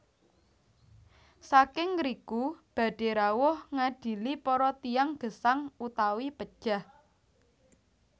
Saking ngriku badhé rawuh ngadili para tiyang gesang utawi pejah